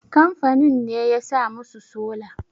kamfanin ne ya sa musu sola?